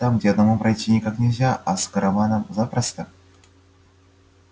там где одному пройти никак нельзя а с караваном запросто